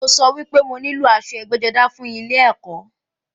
Mo sọ wípé mo nílò aṣọ ẹgbẹ́-jọdá fún ilẹ ẹ̀kọ́.